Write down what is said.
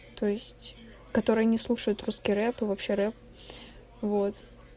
то есть которые не слушают русский рэп и вообще рэп вот